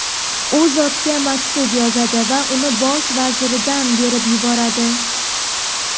u zotga maktub yozadi va uni bosh vaziridan berib yuboradi.